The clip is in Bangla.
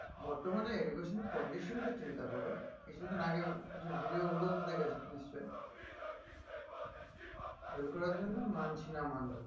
বর্তমানে education condition টা চিন্তা করো কিছুদিন আগের কিছু video গুলো তো দেখেছ নিশ্চয়ই fail করার জন্য মানছি না মানব না